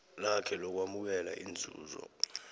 lakhe lokwamukela inzuzo